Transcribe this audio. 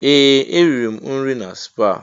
Ee! Eriri m nri na spaa.